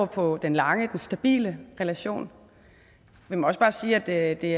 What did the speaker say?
på den lange stabile relation vi må også bare sige at det